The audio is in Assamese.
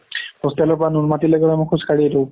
hostel ৰ পৰা নুনমাতিলৈকে খোজ কাঢ়ি আহিলো